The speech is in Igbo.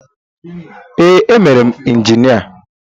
Ee, emere m injinia.